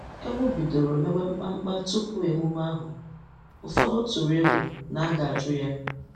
Ewu bidoro mewe mkpamkpa tupu emume ahụ, ụfọdụ tụrụ egwu na a ga-ajụ ya.